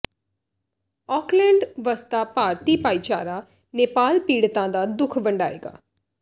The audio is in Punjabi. ਆਕਲੈਂਡ ਵਸਦਾ ਭਾਰਤੀ ਭਾਈਚਾਰਾ ਨੇਪਾਲ ਪੀੜਤਾਂ ਦਾ ਦੁੱਖ ਵੰਡਾਏਗਾ